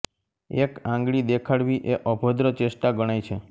એક આંગળી દેખાડવી એ અભદ્ર ચેષ્ટા ગણાય છે